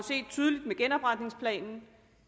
tydeligt set med genopretningsplanen